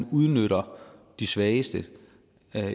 udnytter de svageste